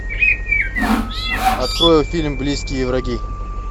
открой фильм близкие враги